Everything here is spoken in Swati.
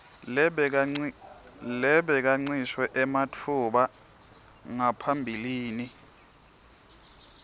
lebekancishwe ematfuba ngaphambilini